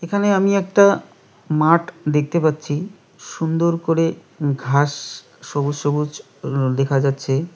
এখানে আমি একটা মাঠ দেখতে পাচ্ছি সুন্দর করে ঘাস-স সবুজ সবুজ উম দেখা যাচ্ছে।